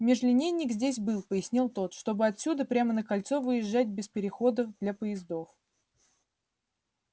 межлинейник здесь был пояснил тот чтобы отсюда прямо на кольцо выезжать без переходов для поездов